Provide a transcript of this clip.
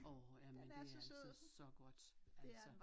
Orh jamen det er altså så godt altså